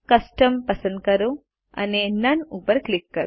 custom પસંદ કરો અને નોને ઉપર ક્લિક કરો